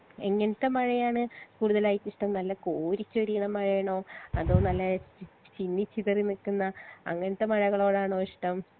എങ്ങനത്തെ മഴയാണ് കൂടുതലായിട്ട് ഇഷ്ട്ടം നല്ല കോരി ചൊരിയിണ മഴയാണോ അതോ നല്ല ചിന്നി ചിതറി നിക്ക്ന്ന അങ്ങനത്തെ മഴകളോടാണോ ഇഷ്ട്ടം